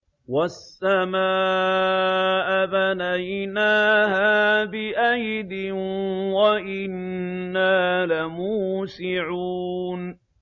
وَالسَّمَاءَ بَنَيْنَاهَا بِأَيْدٍ وَإِنَّا لَمُوسِعُونَ